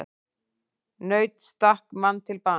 Naut stakk mann til bana